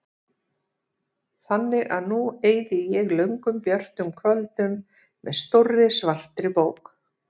Þannig að nú eyði ég löngum björtum kvöldum með stórri svartri bók.